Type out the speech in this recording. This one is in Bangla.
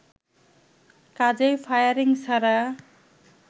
কাজেই ফায়ারিং ছাড়া